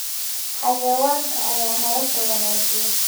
Xayawaanka ayaa nolosha wanaajiya